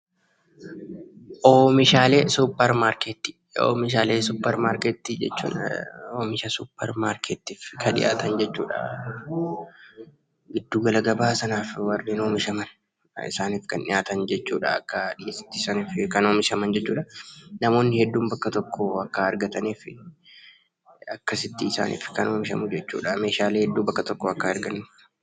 Oomishaalee suupermaarkeetii Oomishaalee suupermaarkeetii jechuun oomisha suupermaarkeetiitiif kan dhihaatan jechuudha. Giddu gala gabaa sanaaf kan dhihaatan, isaaniif kan oomishaman akka dhiheessitti kan oomishaman jechuudha. Namoonni hedduun bakka kanaa akka argataniif akkasitti kan isaaniif oomishamu jechuudha, Meeshaalee hedduu bakka tokkoo akka argataniif.